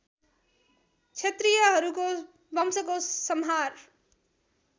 क्षत्रियहरूको वंशको संहार